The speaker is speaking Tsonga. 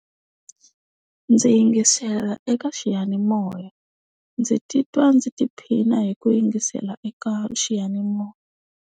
Ndzi yingisela eka xiyanimoya ndzi titwa ndzi tiphina hi ku yingisela eka xiyanimoya.